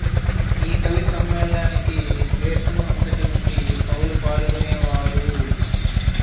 ఈ కవి సమ్మేళనానికి దేశం అంతటి నుండి కవులు పాల్గొనేవారు